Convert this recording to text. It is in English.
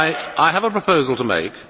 I have a proposal to make.